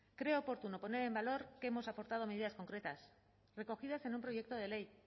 creo oportuno poner en valor que hemos aportado medidas concretas recogidas en un proyecto de ley